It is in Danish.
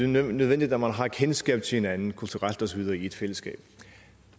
nødvendigt at man har kendskab til hinanden kulturelt og så videre i et fællesskab